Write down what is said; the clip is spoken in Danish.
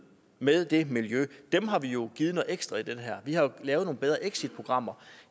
med det miljø har vi jo givet noget ekstra vi har jo lavet nogle bedre exitprogrammer